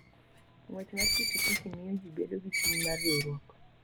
Ng'wech mar pikipiki miyo ji bedo gi chuny mar riwruok.